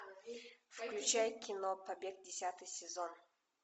включай кино побег десятый сезон